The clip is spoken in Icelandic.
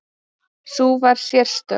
Sú var sérstök.